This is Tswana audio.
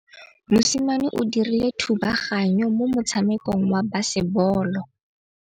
Mosimane o dirile thubaganyô mo motshamekong wa basebôlô.